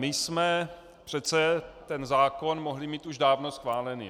My jsme přece ten zákon mohli mít už dávno schválený.